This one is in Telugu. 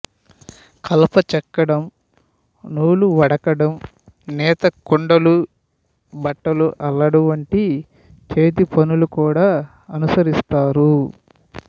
కలప చెక్కడం నూలువడకడం నేత కుండలు బుట్టలు అల్లడం వంటి చేతిపనులని కూడా అనుసరిస్తారు